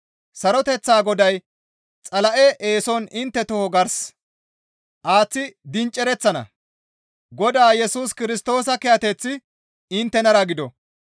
Saroteththa Goday Xala7e eeson intte toho gars aaththi dincereththana. Godaa Yesus Kirstoosa kiyateththi inttenara gido.